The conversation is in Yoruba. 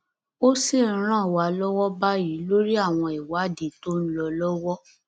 ó sì ń ràn wá lọwọ báyìí lórí àwọn ìwádìí tó ń lọ lọwọ